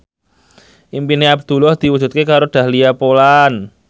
impine Abdullah diwujudke karo Dahlia Poland